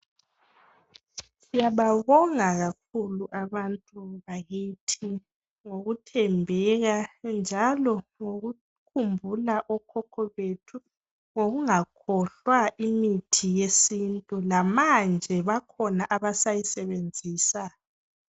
Siyababonga kakhulu abantu bakithi ngokuthembeka njalo ngokukhumbula okhokho bethu ngokungakhohlwa imithi yesintu. Lamanje bakhona abasayisebenzisa.